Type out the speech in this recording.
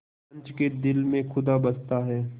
पंच के दिल में खुदा बसता है